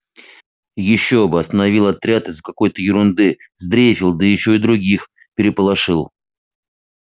ещё бы остановил отряд из-за какой-то ерунды сдрейфил да ещё и других переполошил